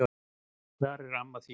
Hvar er amma þín?